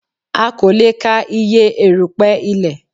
A kò lè ka iye erùpẹ̀ ilẹ̀